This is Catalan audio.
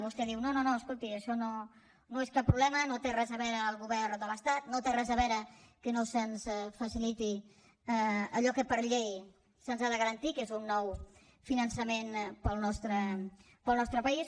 vostè diu no no escolti això no és cap problema no hi té res a veure el govern de l’estat no hi té res a veure que no se’ns faciliti allò que per llei se’ns ha de garantir que és un nou finançament per al nostre país